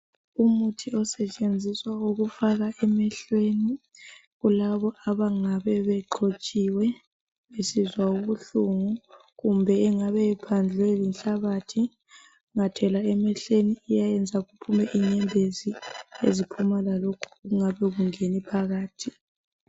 Umuthi osetshenziswa ukufaka emehlweni kulabo abangabe bexhotshiwe besizwa ubuhlungu kumbe ongabe ephandlwe yinhlabathi ungathela emehlweni uyayenza kuphume lenyembezi eziphuma lalokho okungabe kungene phakathi.